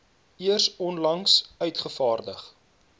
eers onlangs uitgevaardig